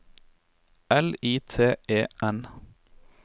L I T E N